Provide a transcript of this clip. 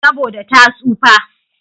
Saboda ta tsufa.